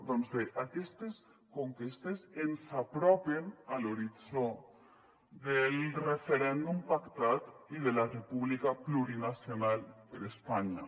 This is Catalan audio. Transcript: doncs bé aquestes conquestes ens apropen a l’horitzó del referèndum pactat i de la república plurinacional per a espanya